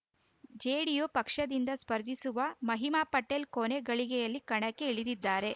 JDU ಪಕ್ಷದಿಂದ ಸ್ಪರ್ಧಿಸಿರುವ ಮಹಿಮಾ ಪಟೇಲ್‌ ಕೊನೆ ಗಳಿಗೆಯಲ್ಲಿ ಕಣಕ್ಕೆ ಇಳಿದಿದ್ದಾರೆ